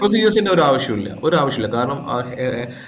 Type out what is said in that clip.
procedures ഒരാവിശ്യമില്ല ഒരാവശ്യമില്ല കാരണം ആഹ് ഏർ